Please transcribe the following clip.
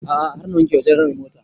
A'a har na wanke wa general mota